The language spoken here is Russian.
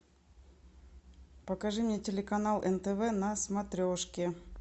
покажи мне телеканал нтв на смотрешке